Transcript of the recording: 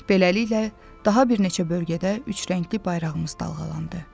Beləliklə, daha bir neçə bölgədə üç rəngli bayrağımız dalğalandı.